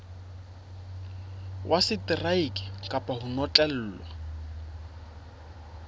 ya seteraeke kapa ho notlellwa